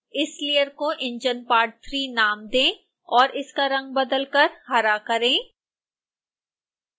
इस लेयर को enginepart3 नाम दें और इसका रंग बदलकर हरा करें